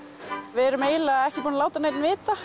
við erum eiginlega ekki búin að láta neinn vita